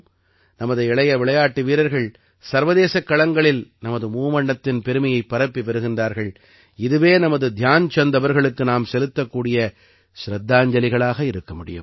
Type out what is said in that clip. நமது இளைய விளையாட்டு வீரர்கள் சர்வதேசக் களங்களில் நமது மூவண்ணத்தின் பெருமையைப் பரப்பி வருகின்றார்கள் இதுவே நமது தியான்சந்த் அவர்களுக்கு நாம் செலுத்தக்கூடிய சிரத்தாஞ்சலிகளாக இருக்க முடியும்